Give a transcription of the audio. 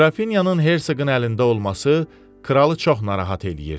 Qrafinyanın Hersoqun əlində olması kralı çox narahat eləyirdi.